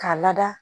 K'a lada